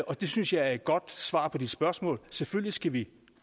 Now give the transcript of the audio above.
og det synes jeg er et godt svar på dit spørgsmål selvfølgelig skal vi